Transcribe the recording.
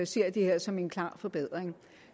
ser det her som en klar forbedring